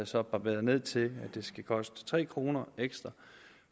så barberet ned til at det skal koste tre kroner ekstra